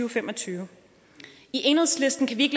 og fem og tyve i enhedslisten kan vi